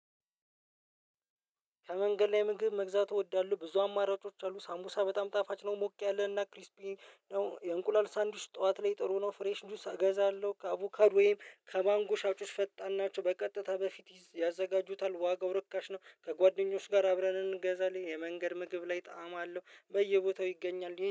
ከመንገድ ላይ ምግብ መግዛት እወዳለሁ። ብዙ አማራጮች አሉ ሳምቡሳ በጣም ጣፋጭ ነው። ሞቅ ያለ እና ክሪስፒ። ያው የእንቁላል ሳንዱች ጠዋት ላይ ጥሩ ነው። ፍሬሽ ጁስ እገዛለሁ። ከአቩካዶ ወይም ማንጎ ጁስ ፈጣን ናቸው በቀጥታ በፊት ያጋጁታል። ዋጋው እርካሽ ነው። ከጓደኞች ጋር አብረን እንገዛለን። የመንገድ ምግብ ላይ ጣዕም አለው በየቦታው ይገኛል